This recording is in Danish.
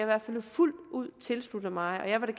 hvert fald fuldt ud tilslutte mig og jeg vil